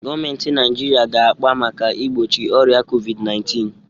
Gọọmentị Naịjiriịa ga-akpa maka igbochi ọrịa COVID_19.